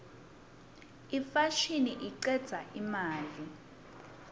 imfashini icedza imali